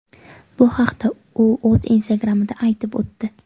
Bu haqda u o‘z Instagram’ida aytib o‘tdi .